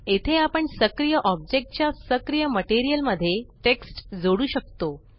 येथे आपण सक्रिय ऑब्जेक्ट च्या सक्रिय मटेरियल मध्ये टेक्स्ट जोडू शकतो